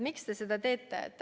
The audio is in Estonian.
Miks te seda teete?